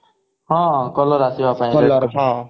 ହଁ color ଆସିବା ପାଇଁ